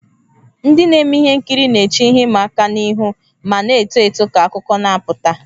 Ndị na-eme ihe nkiri na-eche ihe ịma aka ihu ma na-eto eto ka akụkọ na-apụta.